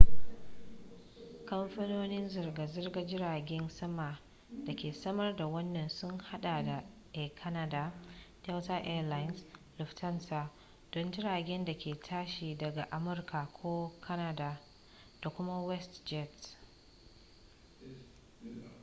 kamfanonin zirga-zirgar jiragen sama da ke samar da wannan sun haɗa da air canada delta air lines lufthansa don jiragen da ke tashi daga amurka ko canada da kuma westjet